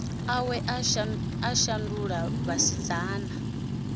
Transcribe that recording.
awe a u shandula vhasidzana